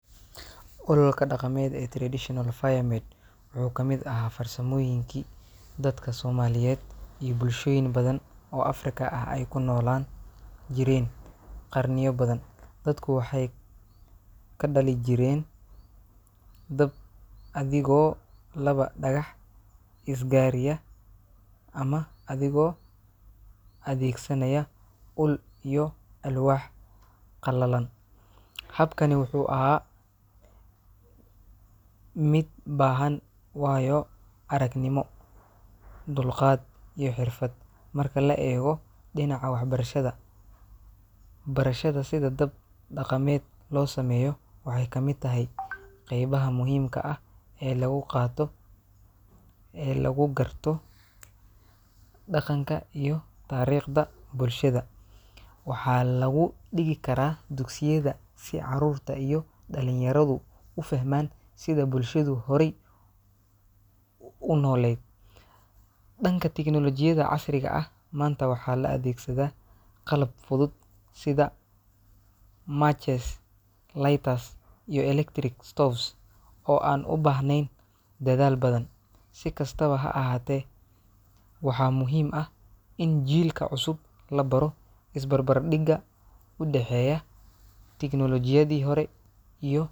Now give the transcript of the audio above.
Ololka dhaqameed ee traditional fire made wuxuu ka mid ahaa farsamooyinkii dadka soomaaliyeed iyo bulshooyin badan oo Afrikaan ah ay ku noolaa jireen qarniyo badan. Dadku waxay ka dhali jireen dab adigoo laba dhagax isgariya ama adigoo adeegsanaya ul iyo alwaax qallalan. Habkani wuxuu ahaa mid baahan waayo-aragnimo, dulqaad, iyo xirfad. Marka la eego dhinaca waxbarashada, barashada sida dab dhaqameed loo sameeyo waxay ka mid tahay qaybaha muhiimka ah ee lagu qaato ee lagugarto dhaqanka iyo taariikhda bulshada. Waxaa lagu dhigi karaa dugsiyada si caruurta iyo dhalinyaradu u fahmaan sida bulshadu horay u nooleyd. Dhanka tignoolajiyada casriga ah, maanta waxaa la adeegsadaa qalab fudud sida matches, lighters, iyo electric stoves oo aan u baahnayn dadaal badan. Si kastaba ha ahaatee, waxaa muhiim ah in jiilka cusub la baro isbarbardhigga u dhexeeya tignoolajiyadii hore iyo.